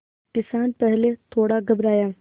किसान पहले थोड़ा घबराया